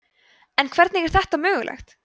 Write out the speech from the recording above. en hvernig var þetta mögulegt